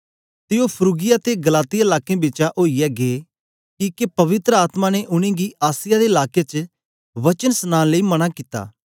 ते ओ फ्रूगिया ते गलातिया लाकें बिचें ओईयै गै किके पवित्र आत्मा ने उनेंगी आसिया दे लाके च वचन सनाने लेई मना कित्ता